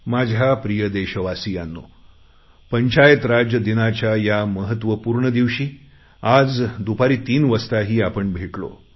माझ्या प्रिय देशवासीयांनो पंचायत राज दिनाच्या या महत्वपूर्ण दिवशी आज संध्याकाळी मी पुन्हा भेटेनच